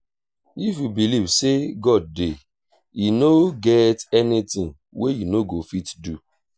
if you believe say god dey e no get anything wey you no go fit do